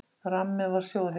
Ramminn var sjóðheitur.